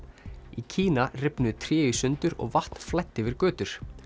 í Kína rifnuðu tré í sundur og vatn flæddi yfir götur